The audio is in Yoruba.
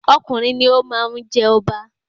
Ọkùnrin ni o máa n je ọba